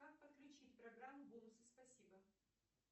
как подключить программу бонусы спасибо